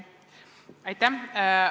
Aitäh!